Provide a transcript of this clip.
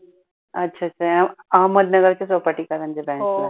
अच्छा अच्छा अहमदनगर च्या branch ला.